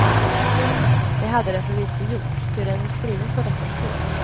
Det hade den förvisso gjort, ty den är skriven på detta språk.